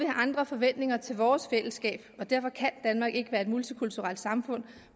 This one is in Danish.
andre forventninger til vores fællesskab og derfor kan danmark ikke være et multikulturelt samfund